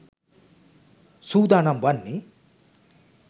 සූදානම් වන්නේ.